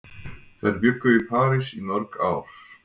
Þær bjuggu í París í mörg ár.